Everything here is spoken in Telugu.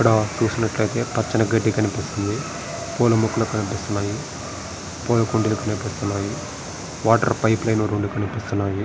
ఇక్కడ చూసినట్లయితే పచ్చని గడ్డి కనిపిస్తుంది. పూల మొక్కలు కనిపిస్తున్నాయి. పూల కుండీలు కనిపిస్తున్నాయి.